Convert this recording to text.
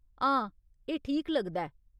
हां, एह् ठीक लगदा ऐ।